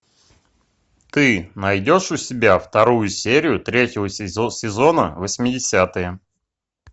ты найдешь у себя вторую серию третьего сезона восьмидесятые